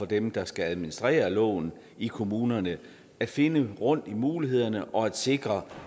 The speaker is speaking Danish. dem der skal administrere loven i kommunerne at finde rundt i mulighederne og sikre